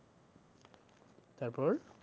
তারপর?